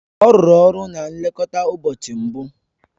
Ọ rụrụ ọrụ na nlekọta ụbọchị mbụ